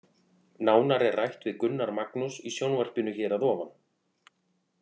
Nánar er rætt við Gunnar Magnús í sjónvarpinu hér að ofan.